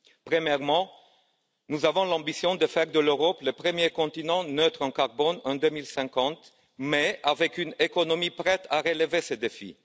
Premièrement, nous avons l'ambition de faire de l'Europe le premier continent neutre en carbone en 2050, dont l'économie devra être prête à relever ce défi.